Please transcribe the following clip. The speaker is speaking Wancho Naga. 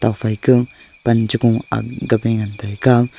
phaika pan chuku ngan taiga--